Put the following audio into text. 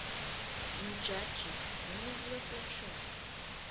mujaji ngumuntfu lohloniswako